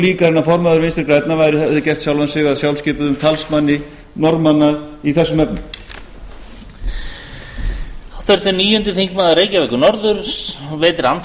líkara en að formaður vinstri grænna hefði gert sjálfan sig að sjálfskipuðum talsmanni norðmanna í þessum efnum